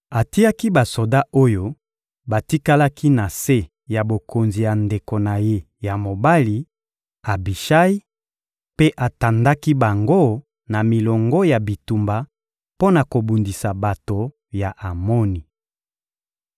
Atiaki basoda oyo batikalaki na se ya bokonzi ya ndeko na ye ya mobali, Abishayi; mpe atandaki bango na milongo ya bitumba mpo na kobundisa bato ya Amoni.